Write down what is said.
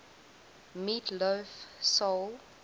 meat loaf soul